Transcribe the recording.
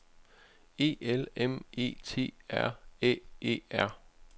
E L M E T R Æ E R